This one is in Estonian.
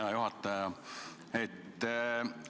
Hea juhataja!